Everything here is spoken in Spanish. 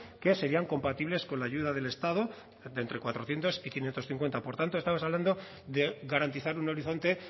que serían compatibles con la ayuda del estado de entre cuatrocientos y quinientos cincuenta por tanto estamos hablando de garantizar un horizonte